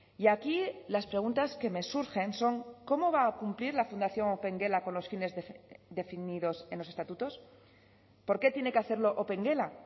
y aquí las preguntas que me surgen son cómo va a cumplir la fundación opengela con los fines definidos en los estatutos por qué tiene que hacerlo opengela